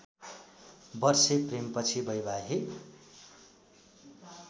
वर्षे प्रेमपछि वैवाहिक